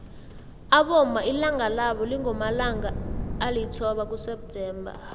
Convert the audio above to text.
abomma ilanga labo lingomalangaa elithoba kuseptemba